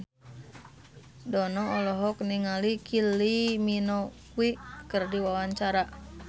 Dono olohok ningali Kylie Minogue keur diwawancara